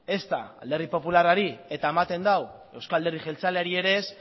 ezta alderdi popularrari eta ematen du euzko alderdi jeltzaleari ere ez